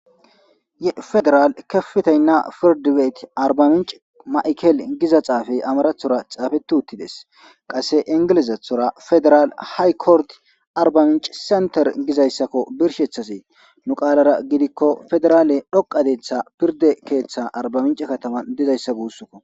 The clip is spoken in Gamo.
ye federal kefitaynna firdiweeti arbaminch ma7kel giza xaafey amarathora xaafeti uttides qasse ingelezethora federal haykord arbaminch senter gizayssakko birshethasee nu qaalara gidikko federaale dhoqadetha pirde keeththa arbaminc katama dizayssa guussoko